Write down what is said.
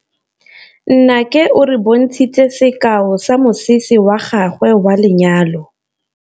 Nnake o re bontshitse sekaô sa mosese wa gagwe wa lenyalo.